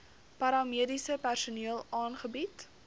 paramediese personeel aangebied